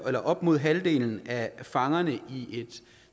op mod halvdelen af fangerne i et